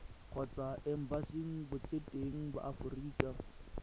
kgotsa embasing botseteng ba aforika